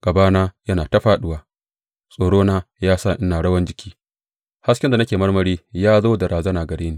Gabana tana ta fāɗuwa, tsoro ya sa ina rawan jiki; hasken da nake marmari ya zo da razana gare ni.